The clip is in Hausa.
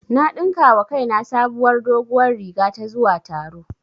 Na ɗinka wa kaina sabuwar doguwar riga ta zuwa taro